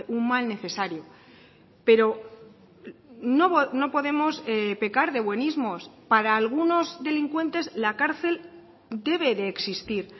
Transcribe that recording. un mal necesario pero no podemos pecar de buenismos para algunos delincuentes la cárcel debe de existir